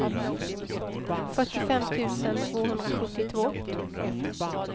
fyrtiofem tusen tvåhundrasjuttiotvå